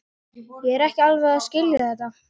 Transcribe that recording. Ég er ekki alveg að skilja þetta.